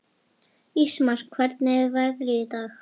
Ísmar, hvernig er veðrið í dag?